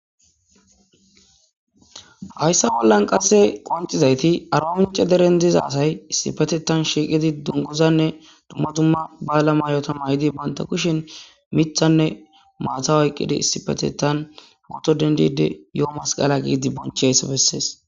Hayssa bollan qasse qoncizayti arawinche deren diza asay issipetetan shiiqidi dungozanne dumma dumma ba la mayota ma yidi banta kushen mithanne maata wayqqidi issipetetan hawoto dendide yo'o masqala giidi bonche hayssa bessees